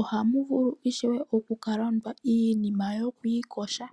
Ohamu vuu ishewe oku kalanda iinima yoku iyoga.